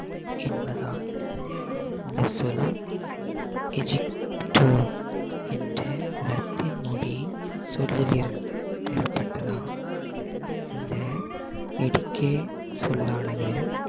என்பதாகும். இந்த சொல் என்ற இலத்தின் மொழி சொல்லிலிருந்து பெறப்பட்டதாகும் இந்த educate சொல்லானது